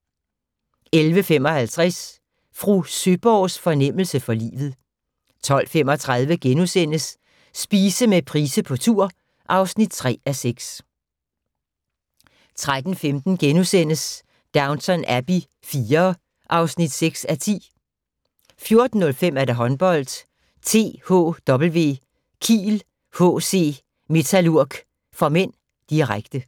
11:55: Fru Søeborgs fornemmelse for livet 12:35: Spise med Price på tur (3:6)* 13:15: Downton Abbey IV (6:10)* 14:05: Håndbold: THW Kiel-HC Metalurg (m), direkte